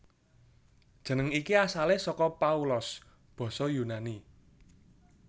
Jeneng iki asalé saka Paulos basa Yunani